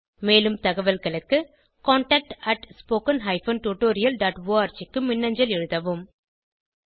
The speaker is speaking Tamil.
மேலும் தகவல்களுக்கு contactspoken tutorialorg க்கு மின்னஞ்சல் எழுதவும்